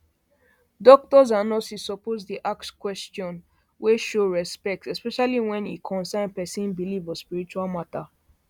doctors and nurses suppose dey ask question question wey show respect especially when e concern person belief or spiritual matter